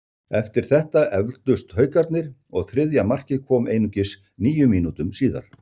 Eftir þetta efldust Haukarnir og þriðja markið kom einungis níu mínútum síðar.